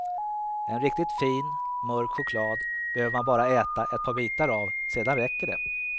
En riktigt fin, mörk choklad behöver man bara äta ett par bitar av sedan räcker det.